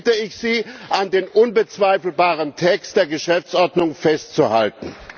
Deswegen bitte ich Sie, an dem unbezweifelbaren Text der Geschäftsordnung festzuhalten.